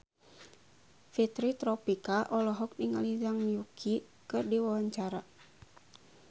Fitri Tropika olohok ningali Zhang Yuqi keur diwawancara